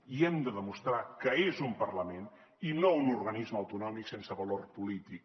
i hem de demostrar que és un parlament i no un organisme autonòmic sense valor polític